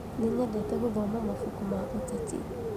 Nĩnyendete gũthoma mabuku ma ũteti